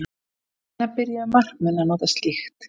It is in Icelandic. Hvenær byrjuðu markmenn að nota slíkt?